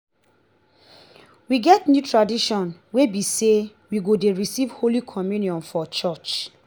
we get new tradition wey be say we go dey receive holy communion for church